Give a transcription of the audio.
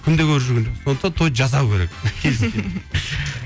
күнде көріп жүрген жоқсың сондықтан тойды жасау керек